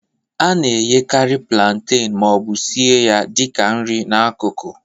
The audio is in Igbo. A na-eghekarị plantain ma ọ bụ sie ya dị ka nri n'akụkụ.